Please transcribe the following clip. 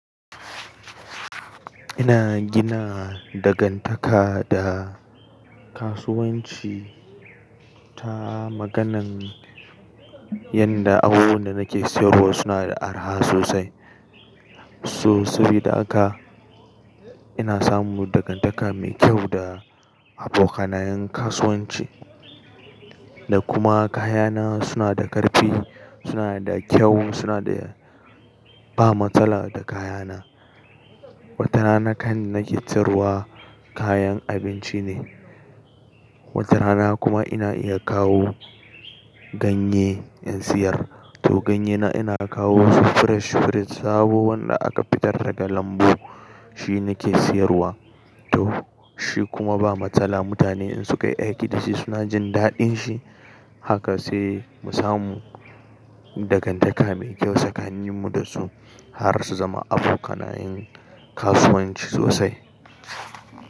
Ina gina dangantaka da kasuwanci ta maganan yanda abubuwan da nake siyarwa suna da araha sosai. So sabida haka, ina samun dangantaka mai kyau da abokanayen kasuwanci da kuma kayana suna da ƙarfi, suna da kyau, suna da ba matsala da kayana. Wata rana kan nake siyarwa kayan abinci ne, wata rana kuma ina iya kawo ganye in siyar. To ganye na ina kawo su fresh fresh sabo wanda aka fitar daga lambu, shi nake siyarwa. To shi kuma ba matsala mutane in sukayi aiki da shi suna jin daɗin shi. Haka sai mu samu dangantaka mai kyau tsakanin mu da su har su zama abokanayin kasuwanci sosai.